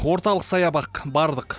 орталық саябақ бардық